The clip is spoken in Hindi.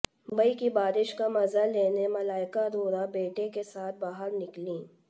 मुंबई की बारिश का मजा लेने मलाइका अरोड़ा बेटे के साथ बाहर निकलीं